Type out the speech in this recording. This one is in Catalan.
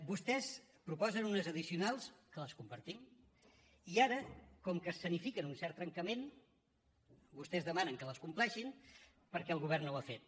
vostès proposen unes addicionals que les compartim i ara com que escenifiquen un cert trencament vostès demanen que les compleixin perquè el govern no ho ha fet